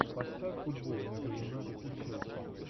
поставь футбол между юнайтед и челси